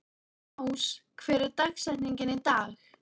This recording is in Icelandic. Ás, hver er dagsetningin í dag?